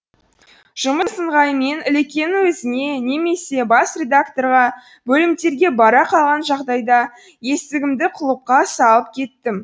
жұмыс ыңғайымен ілекеңнің өзіне немесе бас редакторға бөлімдерге бара қалған жағдайда есігімді құлыпқа салып кетем